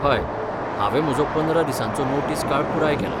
हय, हांवें म्हजो पंदरा दिसांचो नोटीस काळ पुराय केला.